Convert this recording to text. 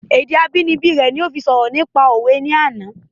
Èdè abínibí rẹ ni ó fi sọ̀rọ̀ nípa òwe ní àná